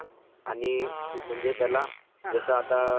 जसं आता एक म्हणजे मॉनिटर